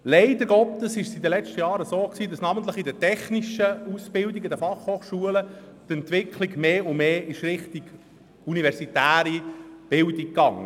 Leider war es in den letzten Jahren so, dass sich namentlich die technischen Ausbildungen an den FH mehr und mehr in Richtung der universitären Bildung bewegten.